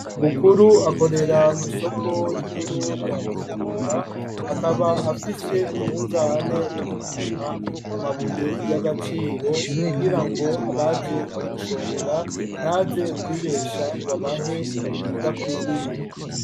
Bukuru akorera mw'isoko rikuru rya Bujumbura akaba afise umunzane wo gupima amabuye y'agaciro kugirango abaje kumushorera ntaze kwibesha ngw'abahe ibidakwiriye .